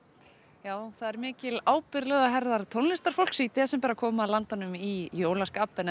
já það er mikil ábyrgð lögð á herðar tónlistarfólks í desember að koma landanum í jólaskap en ef